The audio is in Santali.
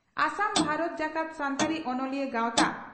ᱟᱥᱟᱢ ᱵᱷᱟᱨᱚᱛ ᱡᱟᱠᱟᱛ ᱥᱟᱱᱛᱟᱲᱤ ᱚᱱᱚᱞᱤᱭᱟᱹ ᱜᱟᱣᱛᱟ